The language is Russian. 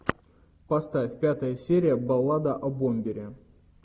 поставь пятая серия баллада о бомбере